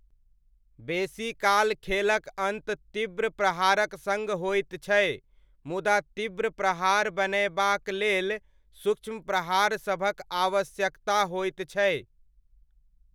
बेसीकाल खेलक अन्त तीव्र प्रहारक सङ्ग होइत छै, मुदा तीव्र प्रहार बनयबाक लेल सूक्ष्म प्रहारसभक आवश्यकता होइत छै।